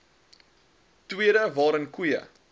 tweede waarin koeie